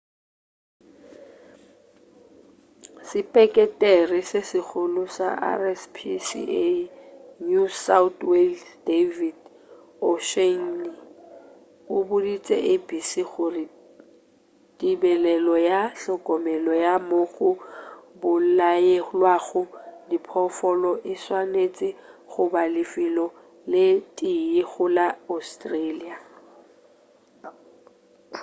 sepeketere se segolo sa rspca new south wales david o'shannessy o boditše abc gore tebelelo le hlokomelo ya moo go bolayelwago diphoofolo e swanetše goba lefelo le tee go la australia